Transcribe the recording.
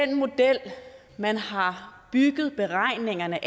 den model man har bygget beregningerne